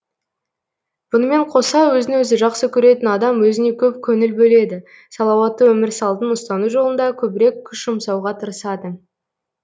бұнымен қоса өзін өзі жақсы көретін адам өзіне көп көңіл бөледі салауатты өмір салтын ұстану жолында көбірек күш жұмсауға тырысады